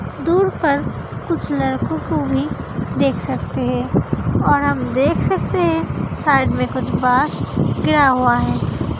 दूर पर कुछ लड़को को भी देख सकते है और हम देख सकते हैं साइड में कुछ वाश क्या हुआ है।